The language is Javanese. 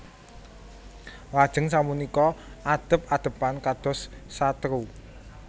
Lajeng sapunika adhep adhepan kados satru